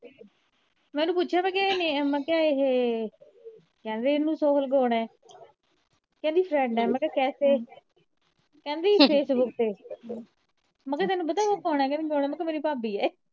ਮੈ ਓਹਨੂੰ ਪੁੱਛਿਆ ਵਾ ਕੇ ਮਤਲਬ ਇਹ ਕਹਿੰਦੀ ਇਹਨੂੰ ਕੌਣ ਏ ਕਹਿੰਦੀ friend ਏ ਮੈ ਕਿਹਾ ਕੇਸੇ ਕਹਿੰਦੀ facebook ਤੇ ਮੈ ਕਿਹਾ ਤੈਨੂੰ ਪਤਾ ਉਹ ਕੌਣ ਆ ਕਹਿੰਦੀ ਕੌਣ ਆ ਮੈ ਕਿਹਾ ਮੇਰੀ ਭਾਬੀ